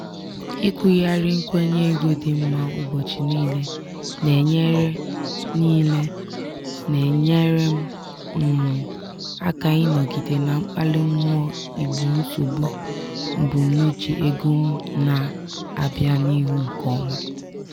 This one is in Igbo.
ikwugharị nkwenye ego dị mma ụbọchị niile na-enyere niile na-enyere m um aka ịnọgide na mkpali mmụọ igbo nsogbu mbunuche ego m na-abịa n'ihu nke ọma.